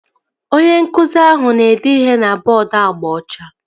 Onye nkụzi ahụ na-ede ihe na bọọdu agba ọcha